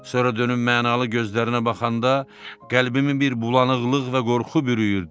Sonra dönüb mənalı gözlərinə baxanda qəlbimi bir bulanıqlıq və qorxu bürüyürdü.